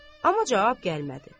Amma cavab gəlmədi.